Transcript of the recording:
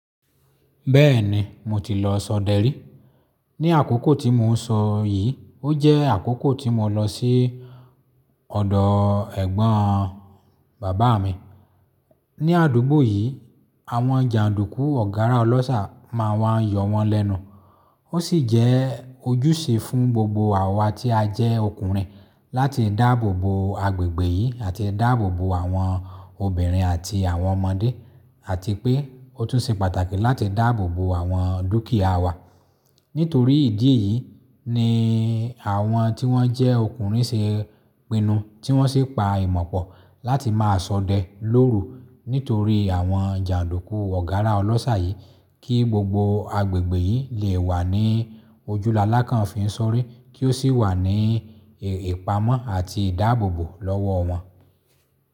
Bẹ́ẹ̀ni, mo ti lọ sọdẹ rí. Ni àkókò tí mò ń sọ yìí, ó jẹ́ àkókò tí mo lọ sí ọ̀dọ̀ ẹ̀gbọ́n bàbá mi. Ni àdúgbò yìí, àwọn jàǹdùkú ọ̀gárá ọlọ́ṣà máa n wá ń yọ wọ́n lẹ́nu. Ó sì jẹ́ ojúṣe fún gbogbo àwa tí a jẹ́ ọkùnrin láti dáàbò bo agbègbè yìí àti dáàbò bo àwọn obìnrin àti àwọn ọmọdé àti pé ó tún ṣe pàtàkì láti dáàbò bo àwọn dúkìyá wa. Nítorí ìdí yí ni àwọn tí wọ́n jẹ́ ọkùnrin ṣe pinu tí wọ́n sì pa ìmọ̀pọ̀ láti máa sọdẹ lóru nítorí àwọn jàǹdùkú ọ̀gárá ọlọ́ṣà yìí kí gbogbo agbègbè yìí lè wà ní ojúlalákàn fi i sọri kí ó sì wà ní ìpamọ́ àti ìdáàbò bo lọ́wọ́ wọn.